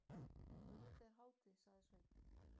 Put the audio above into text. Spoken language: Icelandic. Auðvitað er hátíð, sagði Sveinn.